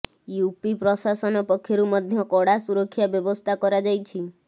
UP ପ୍ରଶାସନ ପକ୍ଷରୁ ମଧ୍ୟ କଡା ସୁରକ୍ଷା ବ୍ୟବସ୍ଥା କରାଯାଇଛି